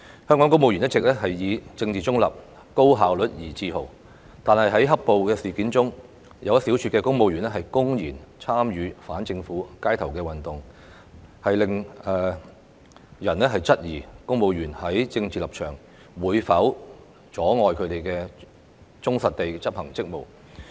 香港公務員一直以政治中立、高效率而自豪，但在"黑暴"事件中，有一小撮公務員公然參與反政府街頭運動，令人質疑公務員的政治立場會否阻礙他們忠實地執行職務。